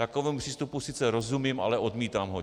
Takovému přístupu sice rozumím, ale odmítám ho.